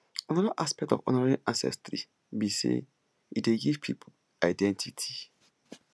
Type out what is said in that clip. anoda aspect of honouring ancestry be sey e dey give pipo identity